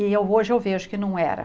E hoje eu vejo que não era.